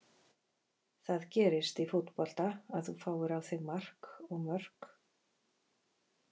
Það gerist í fótbolta að þú fáir á þig mark og mörk.